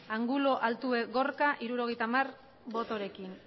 angulo altube gorka hirurogeita hamar botorekin